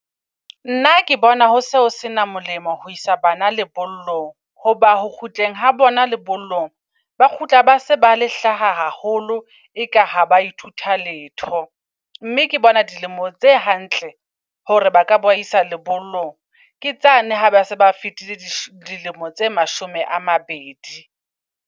Nna ke bona hose ho sena molemo ho isa bana lellong. Hoba ho kgutleng ha bona lebollong ba kgutla base bale hlaha haholo. E ka ha ba ithutha letho. Mme ke bona dilemo tse hantle hore ba ka bo isa lebollong ke tsane ha base ba fetile dilemo tse mashome a mabedi.